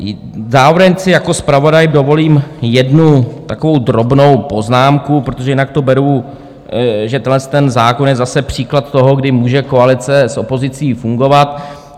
Zároveň si jako zpravodaj dovolím jednu takovou drobnou poznámku, protože jinak to beru, že tenhle zákon je zase příklad toho, kdy může koalice s opozicí fungovat.